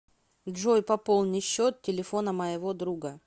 джой пополни счет телефона моего друга